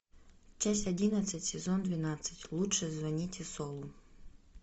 часть одиннадцать сезон двенадцать лучше звоните солу